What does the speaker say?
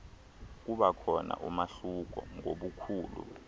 kubakhona umahluko ngobukhulu